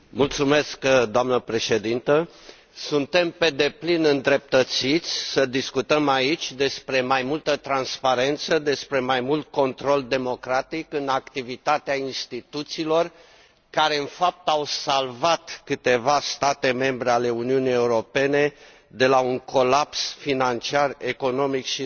Doamnă președinte, suntem pe deplin îndreptățiți să discutăm aici despre mai multă transparență, despre mai mult control democratic în activitatea instituțiilor, care, în fapt, au salvat câteva state membre ale Uniunii Europene de la un colaps financiar, economic și social.